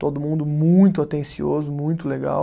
Todo mundo muito atencioso, muito legal.